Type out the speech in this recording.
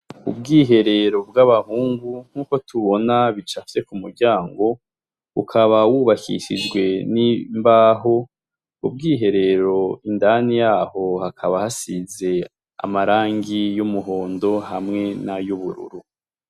Ubwiherero bw'abahungu nk'uko tubona bicafye k'umuryango, ukaba w'ubakishijwe n'imbaho, ubwiherero indani yabwo hakaba hasize amarangi y'umuhondo hamwe n'ay'ubururu.